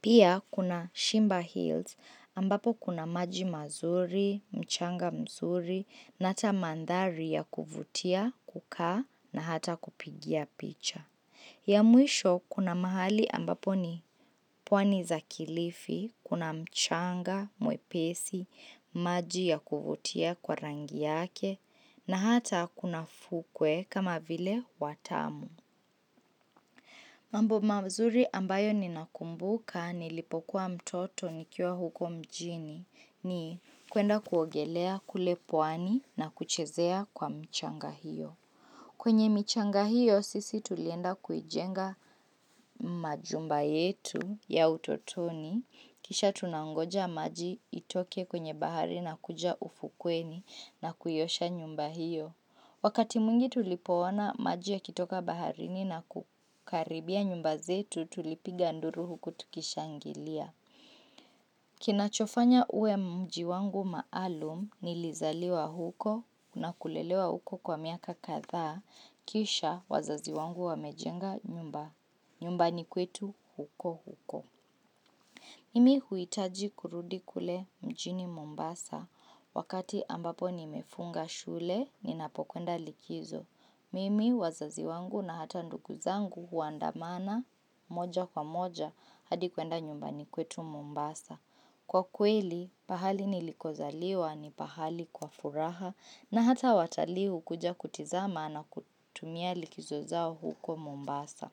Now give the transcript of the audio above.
Pia kuna shimba hills ambapo kuna maji mazuri, mchanga mzuri na ata mandhari ya kuvutia, kukaa na hata kupigia picha. Ya mwisho kuna mahali ambapo ni pwani za kilifi, kuna mchanga, mwepesi, maji ya kuvutia kwa rangi yake na hata kuna fukwe kama vile watamu. Mambo mazuri ambayo ninakumbuka nilipokuwa mtoto nikiwa huko mjini ni kwenda kuogelea kule pwani na kuchezea kwa mchanga hiyo. Kwenye michanga hiyo sisi tulienda kuijenga majumba yetu ya utotoni. Kisha tunangoja maji itoke kwenye bahari na kuja ufukweni na kuiosha nyumba hiyo. Wakati mwingi tulipoona maji yakitoka baharini na kukaribia nyumba zetu tulipiga nduru huku tukishangilia. Kinachofanya uwe mji wangu maalum nilizaliwa huko na kulelewa huko kwa miaka kadhaa kisha wazazi wangu wamejenga nyumba. Nyumbani kwetu huko huko. Mimi huhitaji kurudi kule mjini Mombasa wakati ambapo nimefunga shule ninapokwenda likizo. Mimi wazazi wangu na hata ndugu zangu huandamana moja kwa moja hadi kwenda nyumbani kwetu Mombasa. Kwa kweli, pahali nilikozaliwa ni pahali kwa furaha na hata watali hukuja kutizama na kutumia likizo zao huko Mombasa.